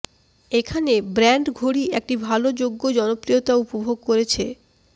এখানে ব্র্যান্ড ঘড়ি একটি ভাল যোগ্য জনপ্রিয়তা উপভোগ করেছে